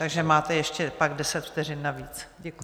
Takže máte ještě pak deset vteřin navíc.